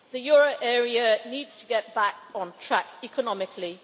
The euro area needs to get back on track economically.